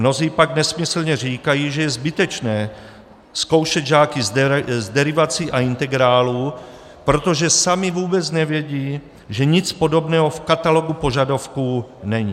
Mnozí pak nesmyslně říkají, že je zbytečné zkoušet žáky z derivací a integrálů, protože sami vůbec nevědí, že nic podobného v katalogu požadavků není.